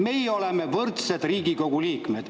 Meie oleme võrdsed Riigikogu liikmed.